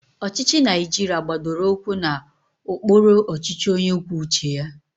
Ọchịchị Naijiria gbadoro ụkwụ na ụkpụrụ ọchịchị onye kwuo uche ya.